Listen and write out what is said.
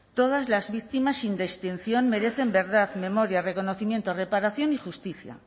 todas las víctimas sin distinción merecen verdad memoria reconocimiento reparación y justicia